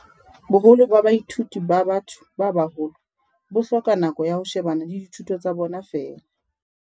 "Boholo ba baithuti ba ba-tho ba baholo bo hloka nako ya ho shebana le dithuto tsa bona feela."